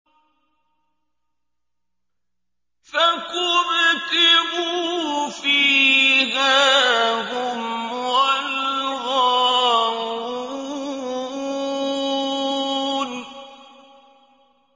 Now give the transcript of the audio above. فَكُبْكِبُوا فِيهَا هُمْ وَالْغَاوُونَ